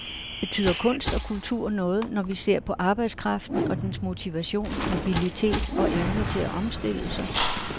Betyder kunst og kultur noget, når vi ser på arbejdskraften og dens motivation, mobilitet og evne til at omstille sig?